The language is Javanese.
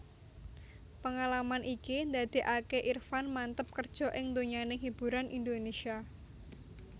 Pengalaman iki ndadékaké Irfan manteb kerja ing donyaning hiburan Indonesia